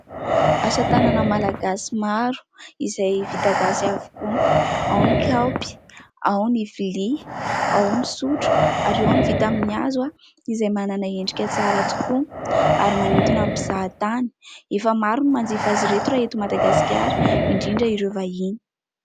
Asa tanana malagasy maro izay vita gasy avokoa, ao ny kaopy, ao ny vilia, ao ny sotro ary ao ny vita amin'ny hazo izay manana endrika tsara tokoa ary manintona ny mpizahatany. Efa maro ny manjifa azy ireto raha eto Madagasikara, indrindra ireo vahiny.